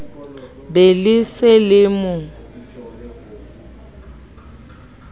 be le se le mo